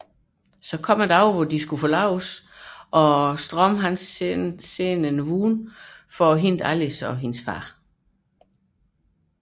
Forlovelsesdagen oprinder og Strom sender en vogn for at hente Alice og hendes far